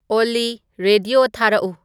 ꯑꯣꯜꯂꯤ ꯔꯦꯗꯤꯌꯣ ꯊꯥꯔꯛꯎ